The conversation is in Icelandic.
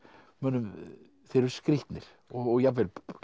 mönnum þeir eru skrýtnir og jafnvel